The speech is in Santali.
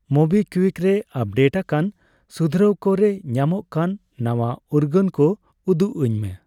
ᱢᱳᱵᱤᱠᱩᱣᱤᱠ ᱨᱮ ᱟᱯᱰᱮᱴᱟᱠᱟᱱ ᱥᱩᱫᱷᱨᱟᱹᱣ ᱠᱚᱨᱮ ᱧᱟᱢᱚᱜ ᱠᱟᱱ ᱱᱟᱣᱟ ᱩᱨᱜᱟᱹᱱ ᱠᱚ ᱩᱫᱩᱜ ᱟᱹᱧᱢᱮ !